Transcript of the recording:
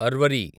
అర్వరి